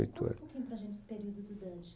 E conta um pouquinho para a gente esse período do Dante.